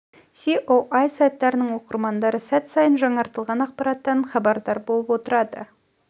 еіе сайттарының оқырмандары сәт сайын жаңартылған ақпараттан абардар болып отырады